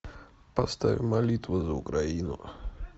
поставь молитву за украину